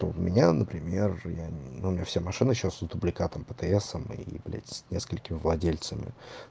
то у меня например я ну у меня все машина сейчас дубликатом птс и блять с несколькими владельцами